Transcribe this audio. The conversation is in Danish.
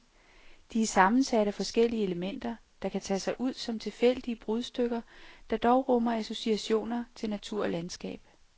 De er sammensat af forskellige elementer, der kan tage sig ud som tilfældige brudstykker, der dog rummer associationer til natur og landskab.